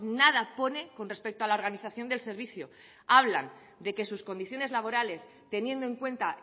nada pone con respecto a la organización del servicio hablan de que sus condiciones laborales teniendo en cuenta